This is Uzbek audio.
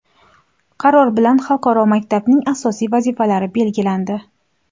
Qaror bilan xalqaro maktabning asosiy vazifalari belgilandi.